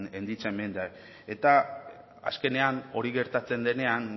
en dicha enmienda eta azkenean hori gertatzen denean